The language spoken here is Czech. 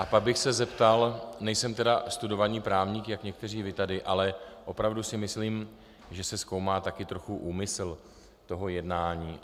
A pak bych se zeptal, nejsem tedy studovaný právník, jak někteří vy tady, ale opravdu si myslím, že se zkoumá taky trochu úmysl toho jednání.